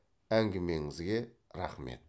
әңгімеңізге рахмет